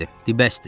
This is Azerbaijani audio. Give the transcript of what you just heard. Di, bəsdir.